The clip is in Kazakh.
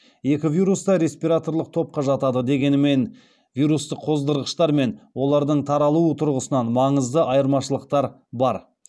екі вирус та респираторлық топқа жатады дегенімен вирустық қоздырғыштар мен олардың таралуы тұрғысынан маңызды айырмашылықтар бар